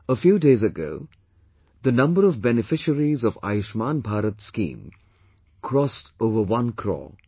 A few days ago, the number of beneficiaries of 'Ayushman Bharat' scheme crossed over one crore